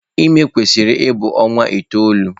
Ime kwesịrị ịbụ ọnwa itoolu.